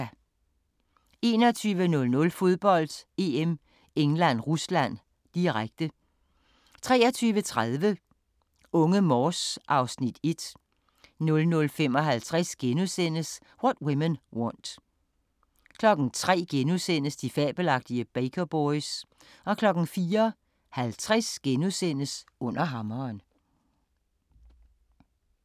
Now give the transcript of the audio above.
21:00: Fodbold: EM - England-Rusland, direkte 23:30: Unge Morse (Afs. 1) 00:55: What Women Want * 03:00: De fabelagtige Baker Boys * 04:50: Under hammeren *